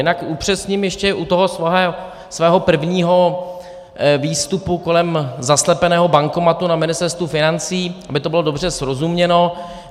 Jinak upřesním ještě u toho svého prvního výstupu kolem zaslepeného bankomatu na Ministerstvu financí, aby to bylo dobře srozuměno.